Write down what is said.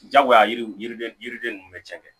Jagoya yiriden yiriden ninnu de cɛ